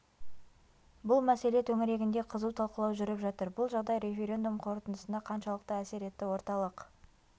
бұл мәселе төңірегінде қызу талқылау жүріп жатыр бұл жағдай референдум қорытындысына қаншалықты әсер етті орталық